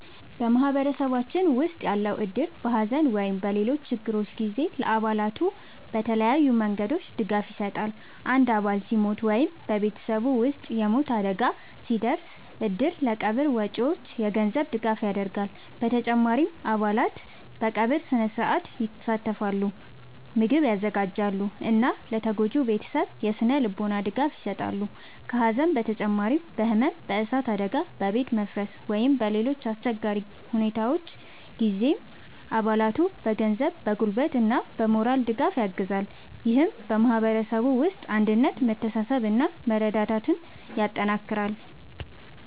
በማህበረሰባችን ውስጥ ያለው እድር በሐዘን ወይም በሌሎች ችግሮች ጊዜ ለአባላቱ በተለያዩ መንገዶች ድጋፍ ይሰጣል። አንድ አባል ሲሞት ወይም በቤተሰቡ ውስጥ የሞት አደጋ ሲደርስ፣ እድሩ ለቀብር ወጪዎች የገንዘብ ድጋፍ ያደርጋል። በተጨማሪም አባላት በቀብር ሥነ-ሥርዓት ይሳተፋሉ፣ ምግብ ያዘጋጃሉ እና ለተጎጂው ቤተሰብ የሥነ-ልቦና ድጋፍ ይሰጣሉ። ከሐዘን በተጨማሪ በሕመም፣ በእሳት አደጋ፣ በቤት መፍረስ ወይም በሌሎች አስቸጋሪ ሁኔታዎች ጊዜም አባላቱን በገንዘብ፣ በጉልበት እና በሞራል ድጋፍ ያግዛል። ይህም በማህበረሰቡ ውስጥ አንድነትን፣ መተሳሰብን እና መረዳዳትን ያጠናክራል።